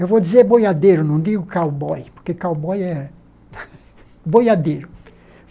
Eu vou dizer boiadeiro, não digo cowboy, porque cowboy é boiadeiro.